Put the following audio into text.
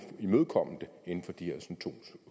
imødekomme det inden for de her to